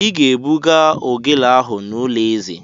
Ị ga-ebuga ogele ahụ n'ụlọ eze!